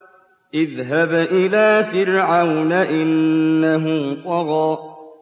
اذْهَبْ إِلَىٰ فِرْعَوْنَ إِنَّهُ طَغَىٰ